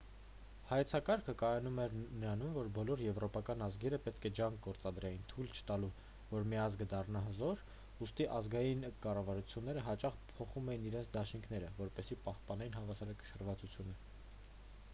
հայեցակարգը կայանում էր նրանում որ բոլոր եվրոպական ազգերը պետք է ջանք գործադրեին թույլ չտալու որ մի ազգը դառնա հզոր ուստի ազգային կառավարությունները հաճախ փոխում էին իրենց դաշինքները որպեսզի պահպանեն հավասարակշռվածությունը